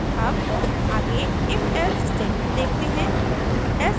अब आगे ifelse statement देखते हैं